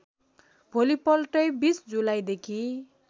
भोलिपल्टै २० जुलाईदेखि